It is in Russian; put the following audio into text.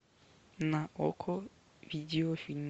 на окко видеофильм